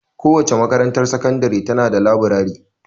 Kowace makarantar sakandiri ta na da laburare.